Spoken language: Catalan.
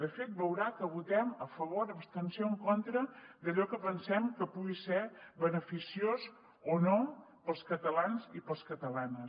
de fet veurà que votem a favor abstenció o en contra segons allò que pensem que pugui ser beneficiós o no per als catalans i per a les catalanes